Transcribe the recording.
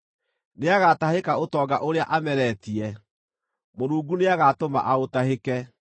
Nĩagatahĩka ũtonga ũrĩa ameretie; Mũrungu nĩagatũma aũtahĩke.